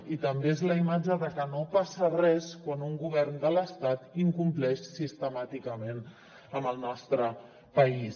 i també és la imatge que no passa res quan un govern de l’estat incompleix sistemàticament amb el nostre país